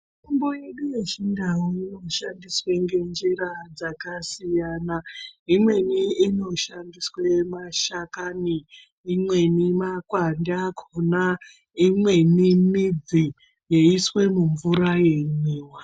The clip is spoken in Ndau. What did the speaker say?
Mutombo yedu ye chindau ino shandiswe nge njira dzaka siyana imweni ino shandiswe mashakani imweni makwande akona imweni midzi yei iswe mu mvura yei mwiwa.